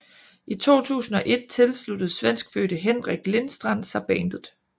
I 2001 tilsluttede svenskfødte Henrik Lindstrand sig bandet